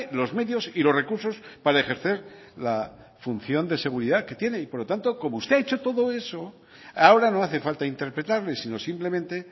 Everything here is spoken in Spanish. los medios y los recursos para ejercer la función de seguridad que tiene por lo tanto como usted ha hecho todo eso ahora no hace falta interpretarle sino simplemente